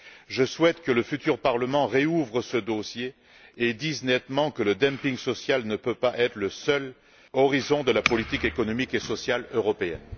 Je souhaite que le futur Parlement rouvre ce dossier et dise nettement que le dumping social ne peut pas être le seul horizon de la politique économique et sociale européenne.